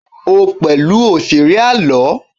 o pẹlú òṣèré àlọ